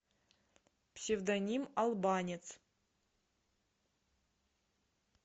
псевдоним албанец